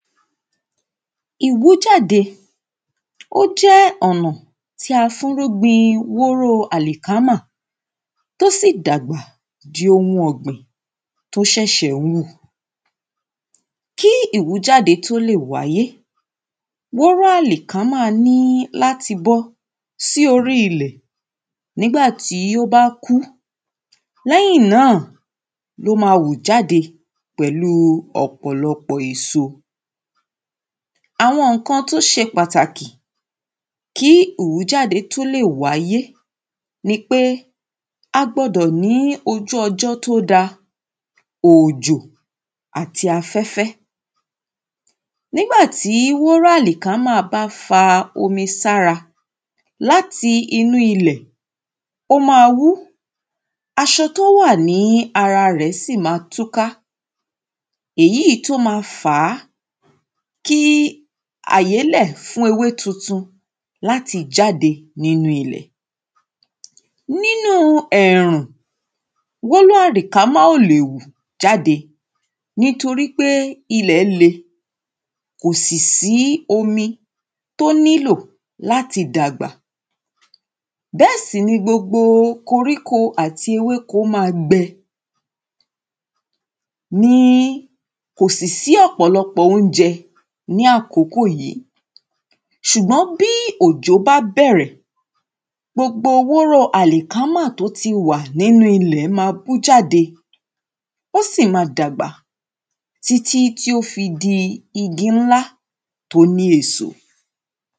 ìwújáde ó jẹ́ ọ̀nà tí a fúrú gbin wóró àlìkámà tó sì dàgbà ju ohun ọ̀gbìn tó ṣẹ̀ṣẹ̀ ń wù kí ìwújáde tó lè wáyé, wóró àlìkámà ní láti bọ́ sí orí ilẹ̀ nígbà tí ó bá kú lẹ́yìn náà ló ma wù jáde pẹ̀lú ọ̀pọ̀lọpọ̀ èso àwọn ǹkan tó ṣe pàtàkì kí ìwújáde tó lè wáyé nipé a gbọdọ̀ ní ojú ọjọ́ tó dáa, òòjò àti afẹ́fẹ́ nígbà tí wóró àlìkámà bá fa omi sára láti inú ilẹ̀ ó ma wú, aṣọ tó wà ní ara rẹ̀ sì máa túká èyí tó máa fàá kí àyélẹ̀ fún ewé tuntun láti jáde nínu ilẹ̀ nínú ẹ̀rùn wóró àlìkámà ò lè wù jáde nítorí pé ilẹ̀ le kò sì sí omi tó nílò láti dàgbà bẹ́ẹ̀ sì ni gbogbo ikoríko àti ewéko máa gbẹ ní kò sì sí ọ̀pọ̀lọpọ̀ oúnjẹ ní àsìkò yí ṣùgbọ́n bí òjò bá bẹ̀rẹ̀ gbogbo wóró àlìkámà tó ti wà nínú ilẹ̀ máa wú jáde ó sì máa dàgbà títí tó fi di igi nílá tó ní èso